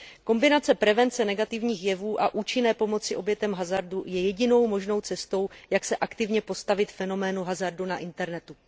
Kombinace prevence negativních jevů a účinné pomoci obětem hazardu je jedinou možnou cestou, jak se aktivně postavit fenoménu hazardu na internetu.